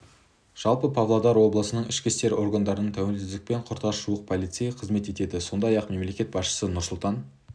жалпы павлодар облысының ішкі істер органдарында тәуелсіздікпен құрдас жуық полицей қызмет етеді сондай-ақ мемлекет басшысы нұрсұлтан